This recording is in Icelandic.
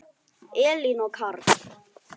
Elín og Karl.